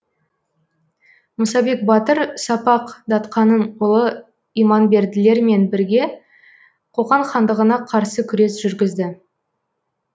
мұсабек батыр сапақ датқаның ұлы иманберділер мен бірге қоқан хандығына қарсы күрес жүргізді